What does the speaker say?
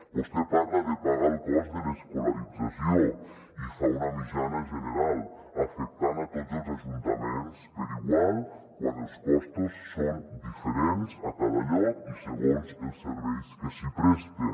vostè parla de pagar el cost de l’escolarització i fa una mitjana general afectant a tots els ajuntaments per igual quan els costos són dife·rents a cada lloc i segons els serveis que s’hi presten